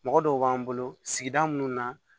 Mɔgɔ dɔw b'an bolo sigida munnu na